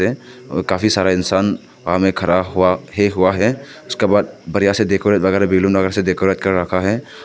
काफी सारा इंसान खड़ा हुआ हे हुआ है उसके बाद बढ़िया से डेकोरेट वगैरा बैलून वगैरा से डेकोरेट कर रखा है।